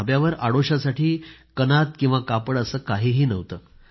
ढाब्यावर आडोशासाठी कापड असं काहीही नव्हतं